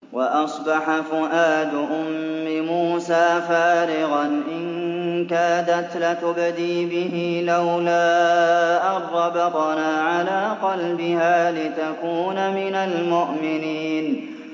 وَأَصْبَحَ فُؤَادُ أُمِّ مُوسَىٰ فَارِغًا ۖ إِن كَادَتْ لَتُبْدِي بِهِ لَوْلَا أَن رَّبَطْنَا عَلَىٰ قَلْبِهَا لِتَكُونَ مِنَ الْمُؤْمِنِينَ